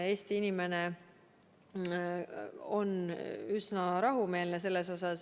Eesti inimene on selles mõttes üsna rahumeelne.